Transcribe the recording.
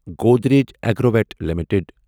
Godrej Agrovet limited